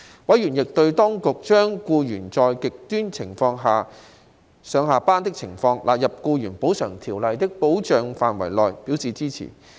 委員亦對當局將僱員在"極端情況"下上下班的情況，納入《僱員補償條例》的保障範圍內，表示支持。